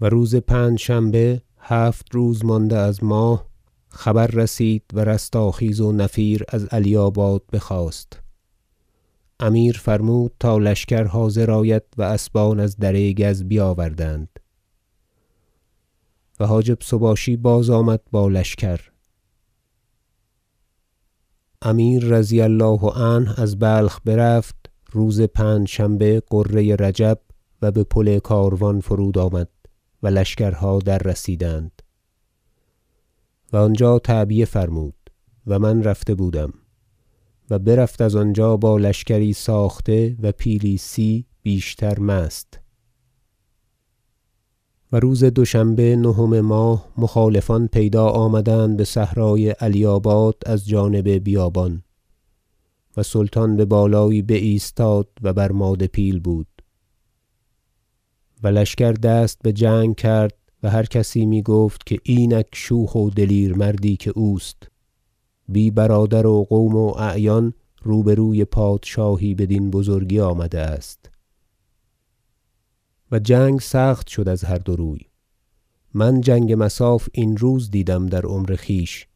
و روز پنجشنبه هفت روز مانده از ماه خبر رسید و رستاخیز و نفیر از علیاباد بخاست امیر فرمود تا لشکر حاضر آید و اسبان از دره گز بیاوردند و حاجب سباشی بازآمد با لشکر امیر رضی الله عنه از بلخ برفت روز پنجشنبه غره رجب و به پل کاروان فرود آمد و لشکرها دررسیدند و آنجا تعبیه فرمود - و من رفته بودم- و برفت از آنجا با لشکری ساخته و پیلی سی بیشتر مست جنگ امیر با ترکمانان در علیاباد و روز دوشنبه نهم ماه مخالفان پیدا آمدند بصحرای علیاباد از جانب بیابان و سلطان ببالایی بایستاد و بر ماده پیل بود و لشکر دست بجنگ کرد و هر کسی میگفت که اینک شوخ و دلیر مردی که اوست بی برادر و قوم و اعیان روبروی پادشاهی بدین بزرگی آمده است و جنگ سخت شد از هر دو روی من جنگ مصاف این روز دیدم در عمر خویش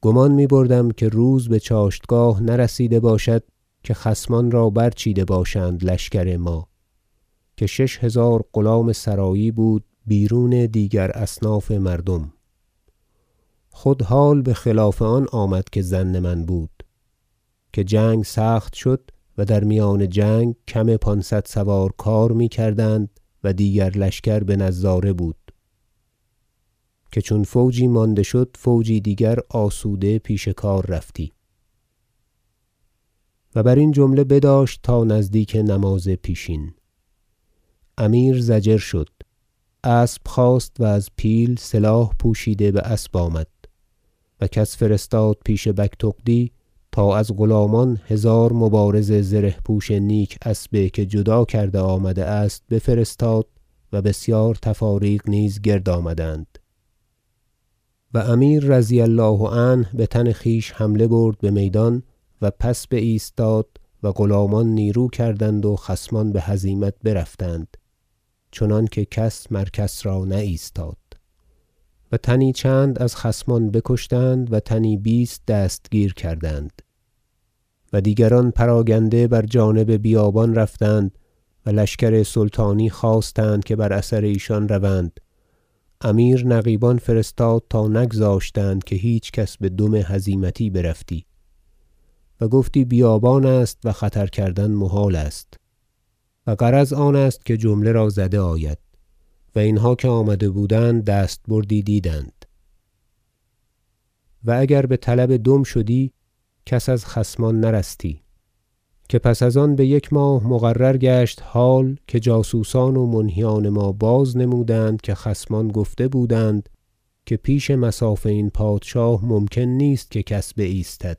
گمان می بردم که روز بچاشتگاه نرسیده باشد که خصمان را برچیده باشند لشکر ما که شش هزار غلام سرایی بود بیرون دیگر اصناف مردم خود حال بخلاف آن آمد که ظن من بود که جنگ سخت شد و در میدان جنگ کم پانصد سوار کار میکردند و دیگر لشکر بنظاره بود که چون فوجی مانده شد فوجی دیگر آسوده پیش کار رفتی و برین جمله بداشت تا نزدیک نماز پیشین امیر ضجر شد اسب خواست و از پیل سلاح پوشیده باسب آمد و کس فرستاد پیش بگتغدی تا از غلامان هزار مبارز زره پوش نیک اسبه که جدا کرده آمده است بفرستاد و بسیار تفاریق نیز گرد آمدند و امیر رضی الله عنه بتن خویش حمله برد بمیدان و پس بایستاد و غلامان نیرو کردند و خصمان بهزیمت برفتند چنانکه کس مر کس را نه ایستاد و تنی چند از خصمان بکشتند و تنی بیست دستگیر کردند و دیگران پراگنده بر جانب بیابان رفتند و لشکر سلطانی خواستند که بر اثر ایشان روند امیر نقیبان فرستاد تا نگذاشتند که هیچ کس بدم هزیمتی برفتی و گفتی بیابان است و خطر کردن محال است و غرض آن است که جمله را زده آید و اینها که آمده بودند دستبردی دیدند و اگر بطلب دم شدی کس از خصمان نرستی که پس از آن بیک ماه مقرر گشت حال که جاسوسان و منهیان ما باز نمودند که خصمان گفته بودند که پیش مصاف این پادشاه ممکن نیست که کس بایستد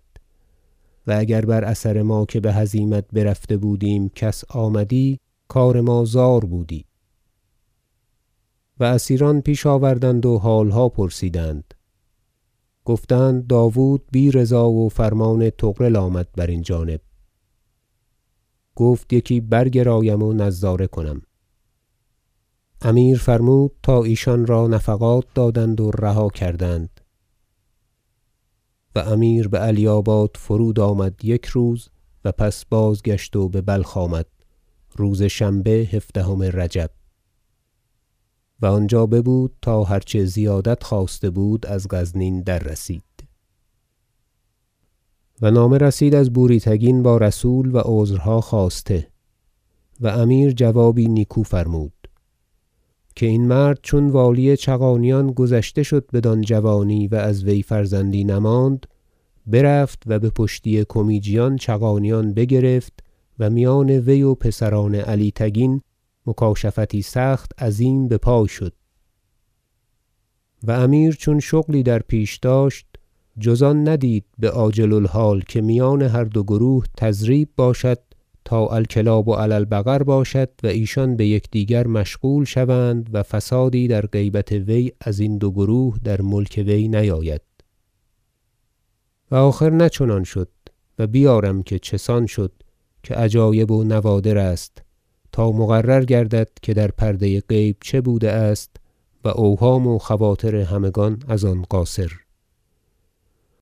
و اگر بر اثر ما که بهزیمت برفته بودیم کس آمدی کار ما زار بودی و اسیران پیش آوردند و حالها پرسیدند گفتند داود بی رضا و فرمان طغرل آمد برین جانب گفت یکی برگرایم و نظاره کنم امیر فرمود تا ایشان را نفقات دادند و رها کردند و امیر بعلیاباد فرود آمد یک روز و پس بازگشت و ببلخ آمد روز شنبه هفدهم رجب و آنجا ببود تا هر چه زیادت خواسته بود از غزنین دررسید و نامه رسید از بوری تگین با رسول و عذرها خواسته و امیر جوابی نیکو فرمود که این مرد چون والی چغانیان گذشته شد بدان جوانی و از وی فرزندی نماند برفت و به پشتی کمیجیان چغانیان بگرفت و میان وی و پسران علی تگین مکاشفتی سخت عظیم بپای شد و امیر چون شغلی در پیش داشت جز آن ندید بعاجل الحال که میان هر دو گروه تضریب باشد تا الکلاب علی البقر باشد و ایشان بیکدیگر مشغول شوند و فسادی در غیبت وی ازین دو گروه در ملک وی نیاید و آخر نه چنان شد و بیارم که چه سان شد که عجایب و نوادر است تا مقرر گردد که در پرده غیب چه بوده است و اوهام و خواطر همگان از آن قاصر